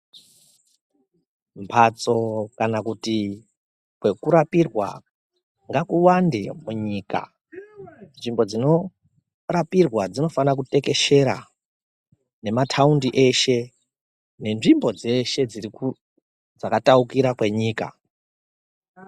Mbatso kana kuti kwakurapirwa ngakuwande munyika nzvimbo dzinorapirwa dzinofanira kutekeshera nemataundi eshe nezvimbo dzeshe dzakataukira kwenyika .